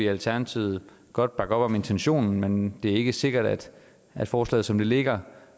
alternativet godt bakke op om intentionen men det er ikke sikkert at forslaget som det ligger